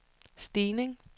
stigning